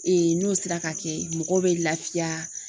n'o sera ka kɛ mɔgɔw bɛ laafiya.